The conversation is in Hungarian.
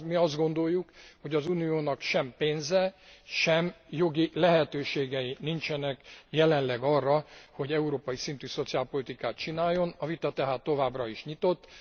Mi azt gondoljuk, hogy az Uniónak sem pénze, sem jogi lehetőségei nincsenek jelenleg arra, hogy európai szintű szociálpolitikát csináljon, a vita tehát továbbra is nyitott.